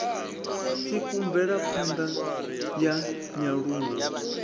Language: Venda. tsiku mvelapha ṋda ya nyaluwo